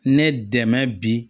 Ne dɛmɛ bi